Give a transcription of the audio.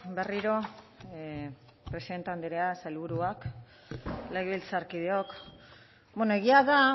berriro presidente anderea sailburuak legebiltzarkideok egia da